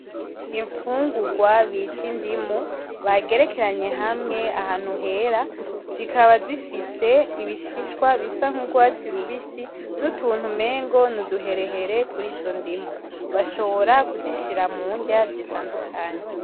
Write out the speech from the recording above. Infungurwa bita indimu bagerekeranye hamwe ahantu Hera zikaba zifise ibishishwa bisa nkugwatsi rubisi nutuntu umengo nuduherehere kurizondimu. Bashobora kuzishira murya zitandukanye.